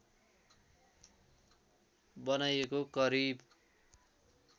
बनाइएको करिब